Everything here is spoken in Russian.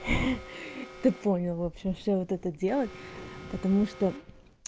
ты понял в общем что вот это делать потому что